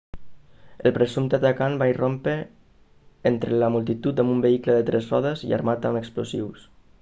el presumpte atacant va irrompre entre la multitud amb un vehicle de tres rodes i armat amb explosius